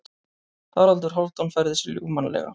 Haraldur Hálfdán færði sig ljúfmannlega.